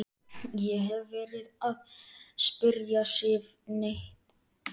Ég hef ekki verið að spyrja Sif neitt.